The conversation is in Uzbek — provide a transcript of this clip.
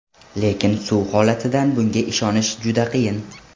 Lekin suv holatidan bunga ishonish juda qiyin.